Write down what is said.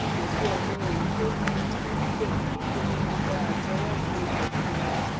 n kò tiẹ mọ èyí tó ń bí mi nínú níbẹ níṣẹ ni mo da àtẹwọ bo ilẹkùn ẹ